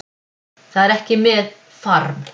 Það er ekki með farm